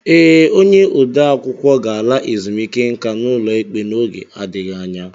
Ee, onye ode akwụkwọ ga-ala ezumike nka n'ụlọ ikpe n'oge adịghị anya